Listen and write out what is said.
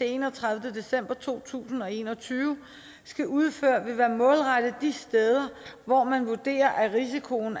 enogtredivete december to tusind og en og tyve skal udføre vil være målrettet de steder hvor man vurderer at risikoen